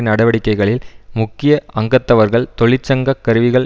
நடவடிக்கைகளில் முக்கிய அங்கத்தவர்கள் தொழிற்சங்க கருவிகள்